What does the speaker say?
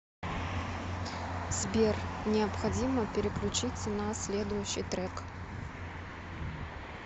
сбер необходимо переключиться на следующий трек